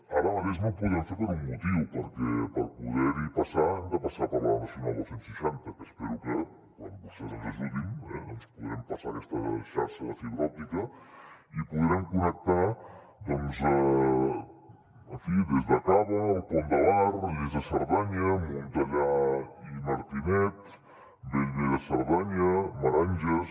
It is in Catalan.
ara mateix no ho podem fer per un motiu perquè per poder hi passar hem de passar per la nacional dos cents i seixanta que espero que quan vostès ens ajudin doncs podrem passar aquesta xarxa de fibra òptica i podrem connectar doncs en fi des de cava el pont de bar lles de cerdanya montellà i martinet bellver de cerdanya meranges